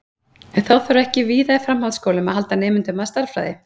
En þarf þá ekki víða í framhaldsskólum að halda nemendum að stærðfræði?